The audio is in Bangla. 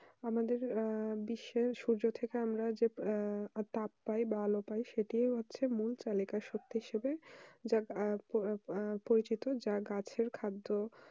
আমাদের আহ বিশ্ব সোজা থাকা আমরা যে তাপ পায় বা আলো পাই সেটা পরিচিত যা গাছের খাদ্য